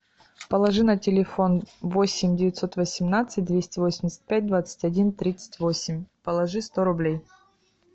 положи на телефон восемь девятьсот восемнадцать двести восемьдесят пять двадцать один тридцать восемь положи сто рублей